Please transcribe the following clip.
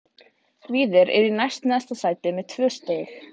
Víðir er í næst neðsta sæti með tvö stig.